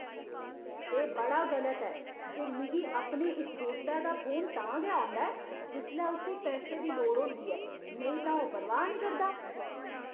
एह् बड़ा गलत ऐ जे मिगी अपने इस दोस्तै दा फोन तां गै होंदा ऐ जिसलै उस्सी पैसे दी लोड़ होंदी ऐ नेईं तां ओह् परवाह् निं करदा।